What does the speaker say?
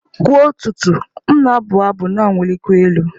Kwa ụtụtụ, m na-abụ abụ na-awụlikwa elu